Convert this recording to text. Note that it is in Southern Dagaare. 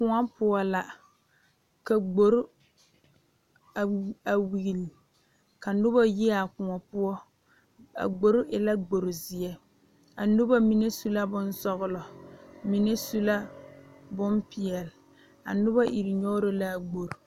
Kóɔ poɔ la ka gbori a weli ka noba yi a kóɔ poɔ a gbori e la gbori zeɛ a noba mine su la bonsɔgelɔ mine su la bompeɛle a noba iri nyɔgerɔ la a gbori